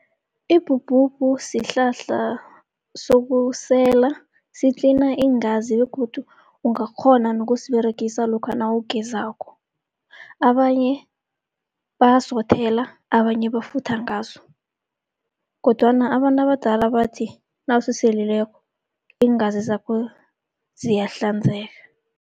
Ibhubhubhu sihlahla sokusela sitlina iingazi, begodu ungakghona nokusiberegisa lokha nawugezako. Abanye bayasiwothela, abanye bafutha ngaso, kodwana abantu abadala abathi nawusiselileko iingazi zakho ziyahlanzeka.